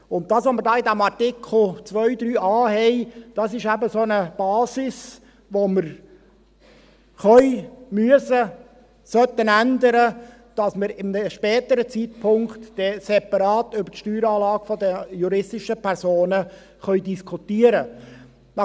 Und das, was wir hier im Artikel 2 Absatz 3a haben, das ist eben so eine Basis, die wir ändern können, müssen, sollten, damit wir dann zu einem späteren Zeitpunkt separat über die Steueranlage der juristischen Personen diskutieren können.